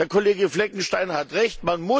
Der Kollege Fleckenstein hat Recht.